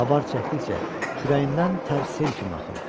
Avar çəkdikcə kürəyindən tərs sel kimi axırdı.